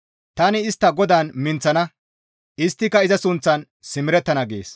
Tani istta GODAAN minththana; isttika iza sunththan simerettana» gees.